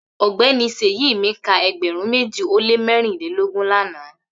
Ogbeni Seyi mi ka egberun meji o le merinlelogun lana